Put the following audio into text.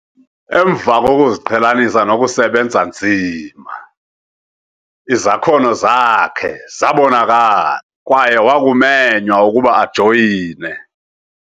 Emva kokuziqhelanisa nokusebenza nzima, izakhono zakhe zabonakala kwaye wakumenywa ukuba ajoyine